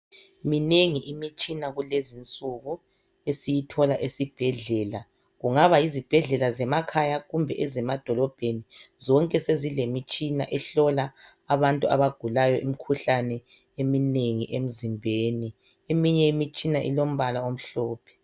Minengi imitshina kulezi nsuku esiyithola esibhedlela. Kungaba yizibhedlela zemakhaya kumbe ezemadolobheni, zonke sezilemitshina ehlola abantu abagulayo imikhuhlane eminengi emzimbeni. Eminye imitshina ilombala omhlophe.